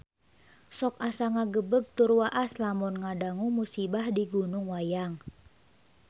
Sok asa ngagebeg tur waas lamun ngadangu musibah di Gunung Wayang